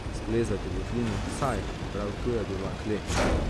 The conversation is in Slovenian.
Splezati v votlino, saj, prav tu je bila kleč!